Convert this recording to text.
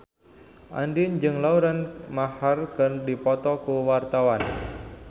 Andien jeung Lauren Maher keur dipoto ku wartawan